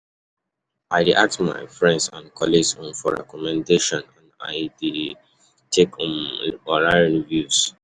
How you um dey take find out about new and affordable places um wey pesin fit eat?